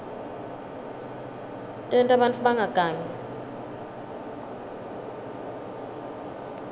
tenta bantfu bangagangi